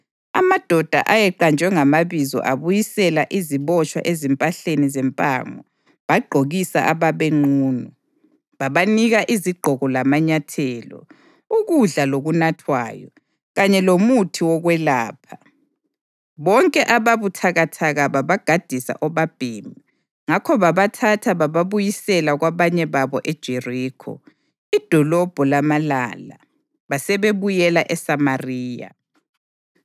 Amadoda ayeqanjwe ngamabizo abuyisela izibotshwa ezimpahleni zempango bagqokisa ababenqunu. Babanika izigqoko lamanyathelo, ukudla lokunathwayo, kanye lomuthi wokwelapha. Bonke ababuthakathaka babagadisa obabhemi. Ngakho babathatha bababuyisela kwabanye babo eJerikho, iDolobho lamaLala, basebebuyela eSamariya.